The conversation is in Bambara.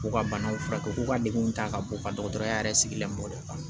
K'u ka banaw furakɛ ko ka degun ta ka bɔ ka dɔgɔtɔrɔya yɛrɛ sigila mɔtɛ kan